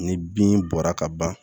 Ni bin bɔra ka ban